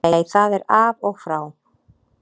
Nei það er af og frá.